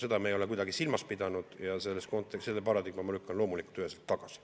Seda me ei ole kuidagi silmas pidanud ja selle paradigma ma lükkan loomulikult üheselt tagasi.